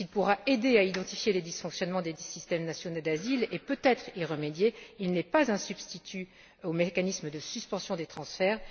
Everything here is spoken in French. S'il pourra aider à identifier les dysfonctionnements des systèmes nationaux d'asile et peut être y remédier, il n'est pas un substitut au mécanisme de suspension des transferts.